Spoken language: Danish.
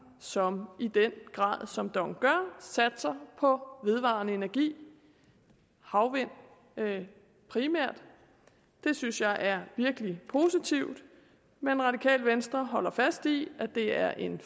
som i den grad som dong gør satser på vedvarende energi havvind primært det synes jeg er virkelig positivt men radikale venstre holder fast i at det er en